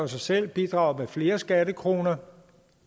sig selv bidrager med flere skattekroner